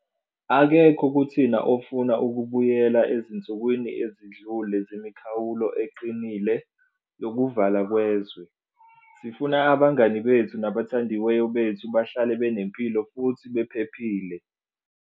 Akekho kuthina ofuna ukubuyela ezinsukwini ezidlule zemikhawulo eqinile yokuvalwa kwezwe. Sifuna abangani bethu nabathandiweyo bethu bahlale benempilo futhi bephephile.